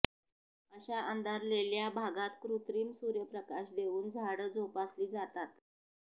अशा अंधारलेल्या भागात कृत्रिम सूर्यप्रकाश देऊन झाडं जोपासली जातात